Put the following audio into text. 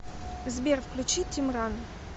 сбер включи тимран